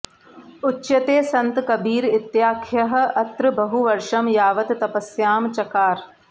उच्यते सन्त कबीर इत्याख्यः अत्र बहुवर्षं यावत् तपस्यां चकार